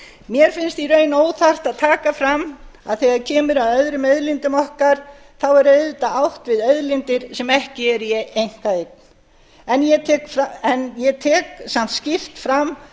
mér finnst í raun óþarft að taka fram að þegar kemur að öðrum auðlindum okkar þá er auðvitað átt við auðlindir sem ekki eru í einkaeign en ég tek samt skýrt fram